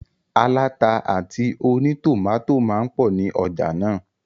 Aláta àti ònítòmátò máa n pọ̀ ní ọjà náà